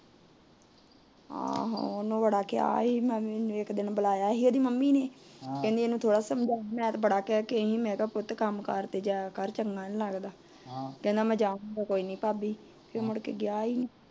ਆਹੋ, ਉਹਨੂੰ ਬੜਾ ਕਿਹਾ ਸੀ ਇਕ ਦਿਨ ਬੁਲਾਆ ਸੀ ਇਹਦੀ ਮਾਂ ਨੇ, ਥੋੜਾ ਸਮਝਾਇਆ ਮੈ ਕਿਹਾ ਪੁੱਤ ਕੰਮਕਾਰ ਤੇ ਜਾਇਆ ਕਰ ਚੰਗਾ ਨਹੀਂ ਲੱਗਦਾ, ਕਹਿੰਦਾ ਮੈ ਜਾਊਂਗਾ ਕੋਈ ਨਹੀਂ ਭਾਬੀ ਫੇਰ ਮੁੜਕੇ ਗਿਆ ਈ ਨਹੀਂ